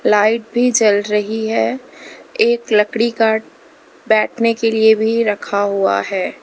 Light भी जल रही है एक लड़की का बैठने के लिए भी रखा हुआ है।